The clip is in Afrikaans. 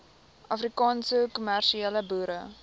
afrikaanse kommersiële boere